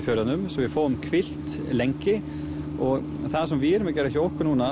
fjörðunum svo við fáum hvílt lengi og það sem við erum að gera hjá okkur núna